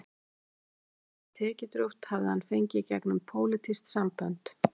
Embættið, sem var tekjudrjúgt, hafði hann fengið gegnum pólitísk sambönd.